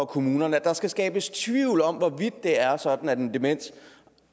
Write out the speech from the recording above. kommunerne skal skabes tvivl om hvorvidt det er sådan at